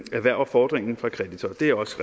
erhverver fordringen fra kreditor det er også